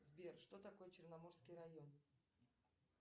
сбер что такое черноморский район